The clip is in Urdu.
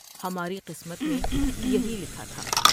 ہماری قسمت میں یہی لکھا تھا ۔